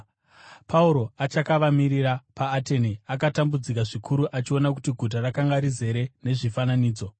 Pauro achakavamirira paAtene, akatambudzika zvikuru achiona kuti guta rakanga rizere nezvifananidzo.